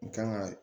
N kan ka